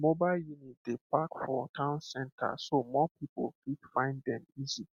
mobile unit dey park for town center so more people fit find dem easy